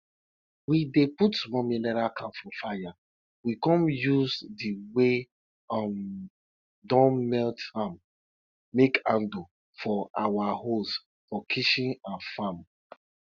we dey put small mineral can for fire we con use the wey um don melt am make handle for our hoes for kitchen and farm